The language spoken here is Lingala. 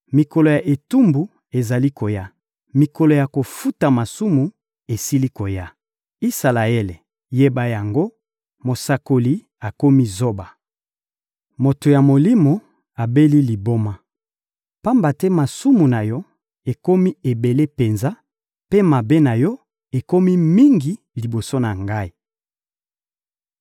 Mikolo ya etumbu ezali koya, mikolo ya kofuta masumu esili koya. Isalaele, yeba yango! Mosakoli akomi zoba, moto ya Molimo abeli liboma! Pamba te masumu na yo ekomi ebele penza, mpe mabe na yo ekomi mingi liboso na ngai.